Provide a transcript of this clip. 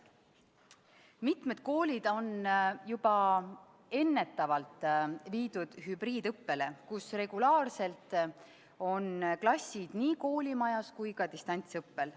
Mitmed koolid on juba ennetavalt viidud hübriidõppele, mille korral on klassid regulaarselt nii koolimajas kui ka distantsõppel.